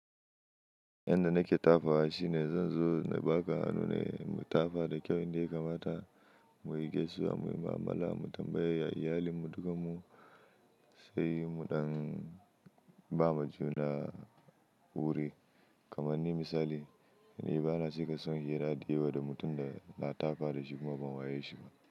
Yanda nake tafawa shi ne zan zo na ba ka hannu ne mu tafa da kyau inda ya kamata mu yi gaisuwar muyi ma'amala mu tambayi iyalinmu dukamu sai mu ɗan bama juna wuri. Kaman misali, ni bana cika son hira da yawa da mutum da na tafa da shi kuma ban wayeshi ba.